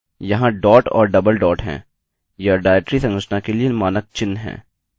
यहाँ डॉट और double dot हैं यह डाइरेक्टरी संरचना के लिए मानक चिन्ह हैं